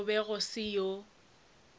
go be go se yo